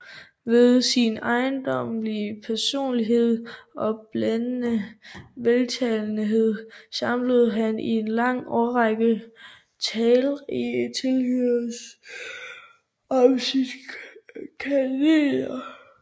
Ved sin ejendommelige personlighed og blændende veltalenhed samlede han i en lang årrække talrige tilhørere om sit kateder